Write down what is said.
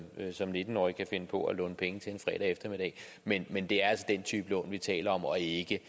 nitten årig kan finde på at låne penge til en fredag eftermiddag men men det er altså den type lån vi taler om og ikke